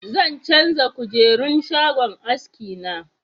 Zan canja kujerun shagon haski na